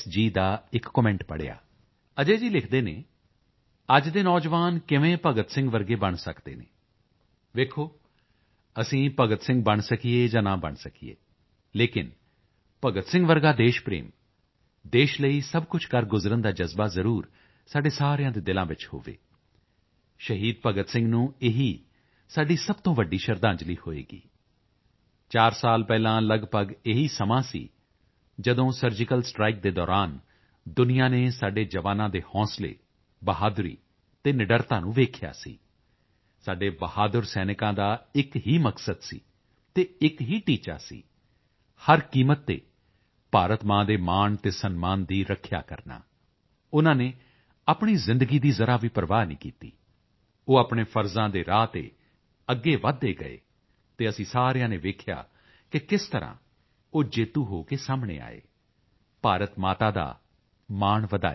ਦਾ ਇੱਕ ਕਮੈਂਟ ਪੜ੍ਹਿਆ ਅਜੈ ਜੀ ਲਿਖਦੇ ਹਨ ਅੱਜ ਦੇ ਨੌਜਵਾਨ ਕਿਵੇਂ ਭਗਤ ਸਿੰਘ ਵਰਗੇ ਬਣ ਸਕਦੇ ਹਨ ਦੇਖੋ ਅਸੀਂ ਭਗਤ ਸਿੰਘ ਬਣ ਸਕੀਏ ਜਾਂ ਨਾ ਬਣ ਸਕੀਏ ਲੇਕਿਨ ਭਗਤ ਸਿੰਘ ਵਰਗਾ ਦੇਸ਼ ਪ੍ਰੇਮ ਦੇਸ਼ ਲਈ ਸਭ ਕੁਝ ਕਰ ਗੁਜ਼ਰਨ ਦਾ ਜਜ਼ਬਾ ਜ਼ਰੂਰ ਸਾਡੇ ਸਾਰਿਆਂ ਦੇ ਦਿਲਾਂ ਵਿੱਚ ਹੋਵੇ ਸ਼ਹੀਦ ਭਗਤ ਸਿੰਘ ਨੂੰ ਇਹੀ ਸਾਡੀ ਸਭ ਤੋਂ ਵੱਡੀ ਸ਼ਰਧਾਂਜਲੀ ਹੋਵੇਗੀ ਚਾਰ ਸਾਲ ਪਹਿਲਾਂ ਲਗਭਗ ਇਹੀ ਸਮਾਂ ਸੀ ਜਦੋਂ ਸਰਜੀਕਲ ਸਟਾਈਕ ਦੌਰਾਨ ਦੁਨੀਆ ਨੇ ਸਾਡੇ ਜਵਾਨਾਂ ਦੇ ਹੌਸਲੇ ਬਹਾਦਰੀ ਅਤੇ ਨਿਡਰਤਾ ਨੂੰ ਵੇਖਿਆ ਸੀ ਸਾਡੇ ਬਹਾਦਰ ਸੈਨਿਕਾਂ ਦਾ ਇੱਕ ਹੀ ਮਕਸਦ ਅਤੇ ਇੱਕ ਹੀ ਟੀਚਾ ਸੀ ਹਰ ਕੀਮਤ ਤੇ ਭਾਰਤ ਮਾਂ ਦੇ ਮਾਣ ਅਤੇ ਸਨਮਾਨ ਦੀ ਰੱਖਿਆ ਕਰਨਾ ਉਨ੍ਹਾਂ ਨੇ ਆਪਣੀ ਜ਼ਿੰਦਗੀ ਦੀ ਜ਼ਰਾ ਵੀ ਪ੍ਰਵਾਹ ਨਹੀਂ ਕੀਤੀ ਉਹ ਆਪਣੇ ਫ਼ਰਜ਼ਾਂ ਦੇ ਰਾਹ ਤੇ ਅੱਗੇ ਵਧਦੇ ਗਏ ਅਤੇ ਅਸੀਂ ਸਾਰਿਆਂ ਨੇ ਵੇਖਿਆ ਕਿ ਕਿਸ ਤਰ੍ਹਾਂ ਉਹ ਜੇਤੂ ਹੋ ਕੇ ਸਾਹਮਣੇ ਆਏ ਭਾਰਤ ਮਾਤਾ ਦਾ ਮਾਣ ਵਧਾਇਆ